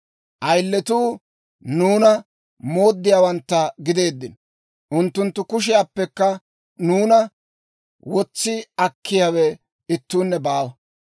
Ayiletuu nuuna mooddiyaawantta gideeddino; unttunttu kushiyaappekka nuuna wotsi akkiyaawe ittuunne baawa.